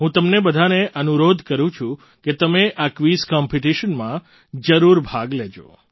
હું તમને બધાને અનુરોધ કરું છું કે તમે આ ક્વિઝ કૉમ્પિટિશનમાં જરૂર ભાગ લેજો